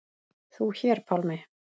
Þú hér, Pálmi.